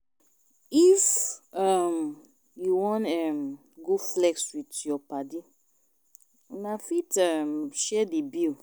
If um you wan um go flex with you padi, una fit um share di bill